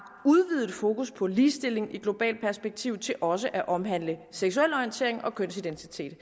udvidet fokus på ligestilling i globalt perspektiv til også at omhandle seksuel orientering og kønsidentitet